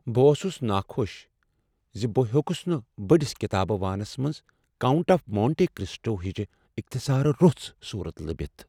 بہٕ اوسُس نا خۄش زِ بہٕ ہیوكُس نہٕ بڈِس كِتابہٕ وانس منٛز "كاونٹ آف مونٹے كرسٹو " ہچہِ اختصارٕ روٚس صورت لبِتھ ۔